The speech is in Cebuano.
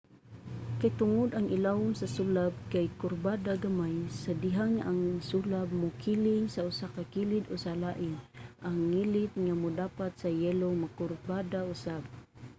kay tungod ang ilawom sa sulab kay kurbada gamay sa dihang ang sulab mokiling sa usa ka kilid o sa lain ang ngilit nga modapat sa yelo mokurbada usab